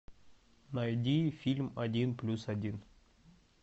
найди фильм один плюс один